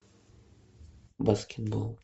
баскетбол